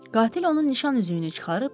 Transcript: Qatil onun nişan üzüyünü çıxarıb.